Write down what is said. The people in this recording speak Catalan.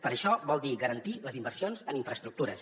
però això vol dir garantir les inversions en infraestructures